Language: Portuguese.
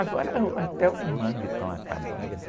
Agora, eh, uh, até os mangues estão acabando.